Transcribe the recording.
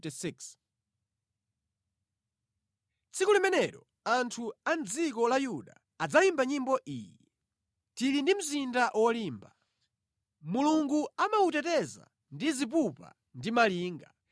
Tsiku limenelo anthu a mʼdziko la Yuda adzayimba nyimbo iyi. Tili ndi mzinda wolimba. Mulungu amawuteteza ndi zipupa ndi malinga.